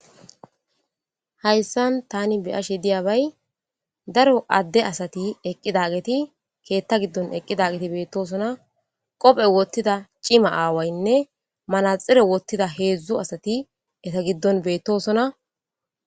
Hayssan tani beyashe diyabay daro adde asati eqqida geti keetta giddon eqqida geti beettosona qophe wottida cima aawaynne manaxire wottida heedzdzu asati eta giddon beettosona.